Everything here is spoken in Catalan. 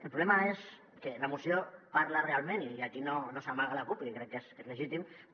el problema és que la moció parla realment i aquí no se n’amaga la cup i crec que és legítim